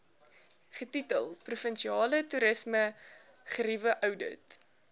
getitel provinsiale toerismegerieweoudit